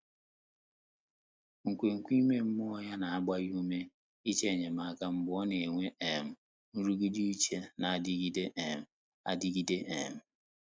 Nkwènkwe ímé mmụ́ọ́ yá nà-àgbá yá úmé ị́chọ́ ényémáká mgbè ọ́ nà-ènwé um nrụ́gídé úchè nà-ádị́gídé um ádị́gídé. um